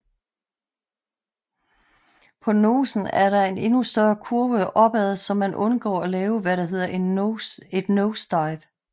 På nosen er der en endnu større kurve op ad så man undgår at lave hvad der hedder et nosedive